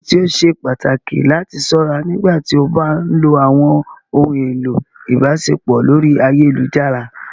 Kini idi ti o ṣe pataki lati ṣọra nigbati o ba nlo awọn ohun elo ibaṣepọ lori ayelujara?